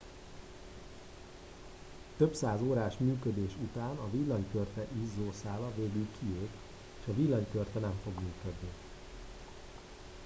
több száz órás működés után a villanykörte izzószála végül kiég és a villanykörte nem fog működni